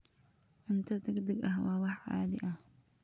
Cunto degdeg ah waa wax caadi ah.